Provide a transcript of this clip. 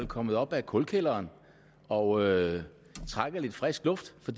kommet op af kulkælderen og trækker lidt frisk luft for